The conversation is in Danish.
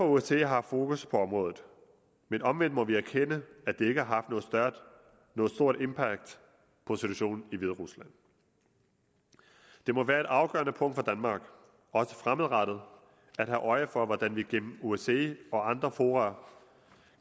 osce har haft fokus på området men omvendt må vi erkende at det ikke har haft noget stort impact på situationen i hviderusland det må være et afgørende punkt for danmark også fremadrettet at have øje for hvordan vi gennem osce og andre fora